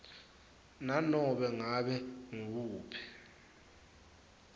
nanobe ngabe nguwuphi